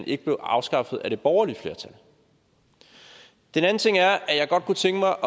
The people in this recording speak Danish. ikke blev afskaffet af det borgerlige flertal den anden ting er at jeg godt kunne tænke mig